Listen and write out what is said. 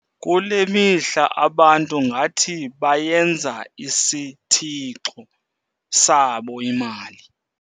Kule mihla abantu ngathi bayenza isithixo sabo imali.